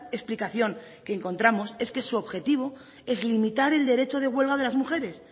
explicación que encontramos es que su objetivo es limitar el derecho de huelga de las mujeres